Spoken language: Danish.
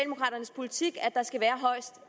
sige